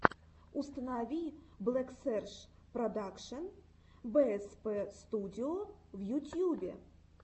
установи блэксерж продакшен бээспэ студио в ютьюбе